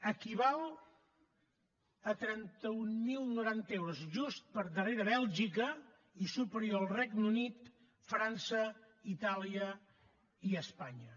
equival a trenta mil noranta euros just per darrere bèlgica i superior al regne unit frança itàlia i espanya